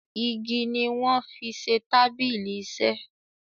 ìgi ní wón fí ṣe tábìlì iṣe